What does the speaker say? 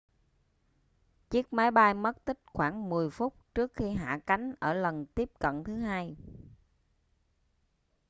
chiếc máy bay mất tích khoảng 10 phút trước khi hạ cánh ở lần tiếp cận thứ hai